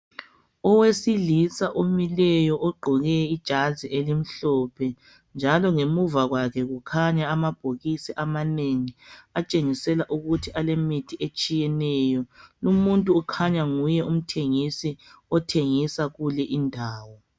Owesilisa omileyo ogqoke ijazi elimhlophe njalo ngemuva kwakhe kukhanya amabhokisi amanengi atshengisa ukuthi alemithi etshiyeneyo lumuntu ukhanya nguye umthengisi othengisela kulindawo